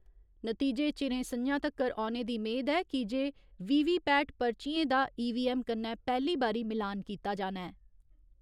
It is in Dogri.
नतीजे चिरें सं'ञा तगर औने दी मेद ऐ कि जे वीवीपैट पर्चियें दा ईवीऐम्म कन्नै पैह्‌ली बारी मिलान कीता जाना ऐ।